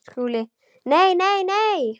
SKÚLI: Nei, nei, nei!